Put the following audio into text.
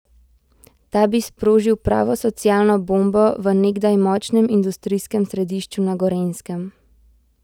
Ta bi sprožil pravo socialno bombo v nekdaj močnem industrijskem središču na Gorenjskem.